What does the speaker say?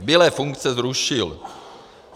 Zbylé funkce zrušil.